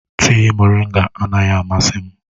Tịị moringa anaghị amasị m.